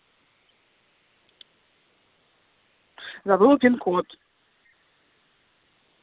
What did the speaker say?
забыла пин-код